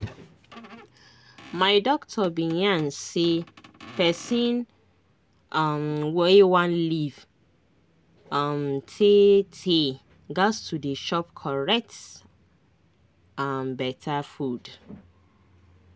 my doctor bin yarn say pesin um wey one live um tey-tey gas to dey chop correct um beta food